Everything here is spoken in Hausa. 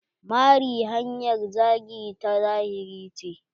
Mari hanyar zagi ta zahiri ce.